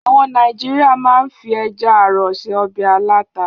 Àwọn Nàìjíríà máa ń fi ẹja-àrọ̀ se ọbẹ̀ aláta.